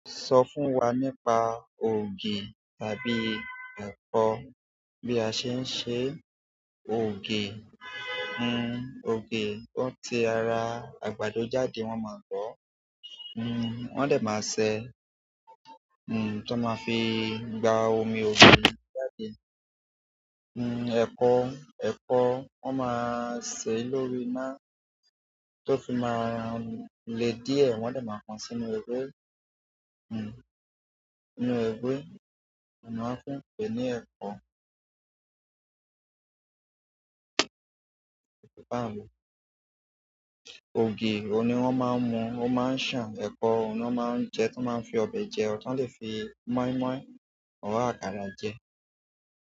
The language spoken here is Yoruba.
Sọ fún wa nípa ògì tàbí ẹ̀kọ. Bí a ṣe ń ṣe ògì, hmm ògì, oun ti ara àgbàdo jáde, wọ́n máa bọ̀, hmm wọ́n lè máa sèé, hmm tí wọ́n máa fi gba omi ògùn ní jáde. Hmm ẹ̀kọ, ẹ̀kọ wọ́n máa sè lórí iná tó fi máa le díẹ̀, wọ́n dè máa pọn sínú ewé, hmm sínú ewé, a oun ni won fin pẹ ní ẹ̀kọ. Ògì òun ní wọ́n máa ń mu, ó máa ń sàn. Ẹ̀kọ, òun na máa ń jẹ tí wọ́n maá n fi ọbẹ̀ jẹ ọ́, tán lè fi móínmóín or àkàrà jẹ.